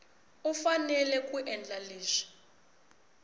u fanele ku endla leswi